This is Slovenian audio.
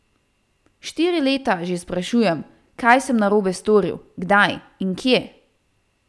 Štiri leta že sprašujem, kaj sem narobe storil, kdaj in kje.